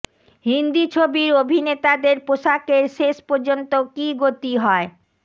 হিন্দি ছবির অভিনেতাদের পোশাকের শেষ পর্যন্ত কী গতি হয়